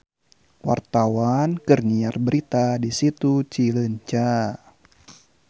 Wartawan keur nyiar berita di Situ Cileunca